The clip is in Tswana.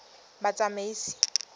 batsamaisi